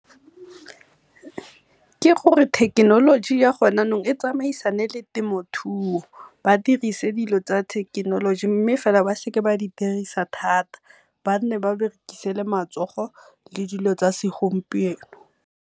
Ke gore thekenoloji ya go ne jaanong e tsamaisane le temothuo, ba dirise dilo tsa thekenoloji mme fela ba seke ba di dirisa thata ba nne ba berekise le matsogo le dilo tsa segompieno.